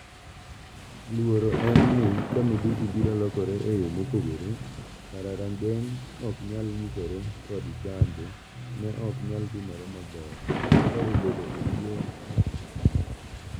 Luoro en ni ka midhusi biro lokore eyoo mopogore, kara rageng' ok nyal nyisore kod chanjo ne ok nyal timore maber (kaka obedo e tuo mar obo).